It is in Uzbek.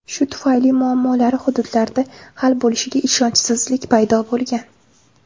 Shu tufayli muammolari hududlarda hal bo‘lishiga ishonchsizlik paydo bo‘lgan.